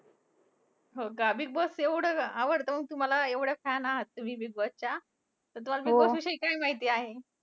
हो का! बिगबॉस एवढं अं आवडतं हो तुम्हांला एवढ्या fan आहात तुम्ही बिगबॉसच्या. तर तुम्हांला बिगबॉसविषयी काय माहिती आहे?